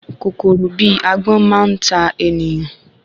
Kòkòrò bi Agbọ́n máa n ta ènìyàn